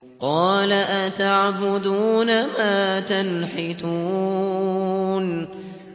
قَالَ أَتَعْبُدُونَ مَا تَنْحِتُونَ